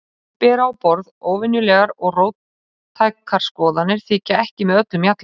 Menn sem bera á borð óvenjulegar og róttækar skoðanir þykja ekki með öllum mjalla.